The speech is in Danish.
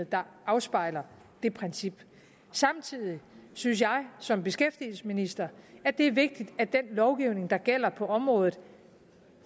der afspejler det princip samtidig synes jeg som beskæftigelsesminister at det er vigtigt at den lovgivning der gælder på området